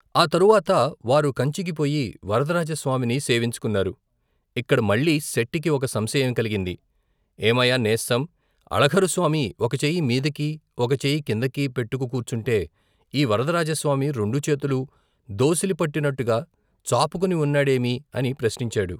ఆ తరువాత వారు కంచికి పోయి వరద రాజస్వామిని సేవించుకున్నారు ఇక్కడ మళ్లీ శెట్టికి ఒక సంశయం కలిగింది ఏమయ్యా నేస్తం అళఘరు స్వామి ఒక చెయ్యి మీదికీ ఒక చెయ్యి కిందికీ పెట్టుకు కూర్చుంటే ఈ వరదరాజస్వామి రెండు చేతులూ, దోసిలి పట్టినట్టుగా చాపుకొని ఉన్నాడేమి అని ప్రశ్నించాడు.